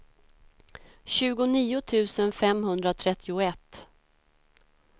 tjugonio tusen femhundratrettioett